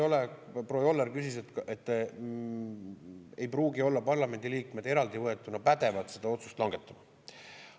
Proua Joller ütles, et parlamendiliikmed eraldi võetuna ei pruugi olla pädevad seda otsust langetama.